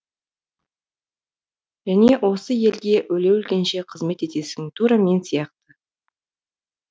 және осы елге өле өлгенше қызмет етесің тура мен сияқты